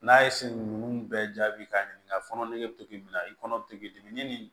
N'a ye ninnu bɛɛ jaabi k'a ɲininka fɔnɔ nege bɛ to k'i minɛ i kɔnɔ bɛ to k'i dimi ni nin